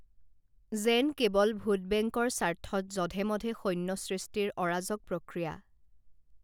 যেন কেৱল ভোটবেংকৰ স্বাৰ্থত যধে মধে সৈন্য সৃষ্টিৰ অৰাজক প্ৰক্ৰিয়া